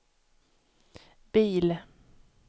bil